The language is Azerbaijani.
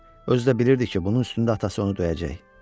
Özü də bilirdi ki, bunun üstündə atası onu döyəcək.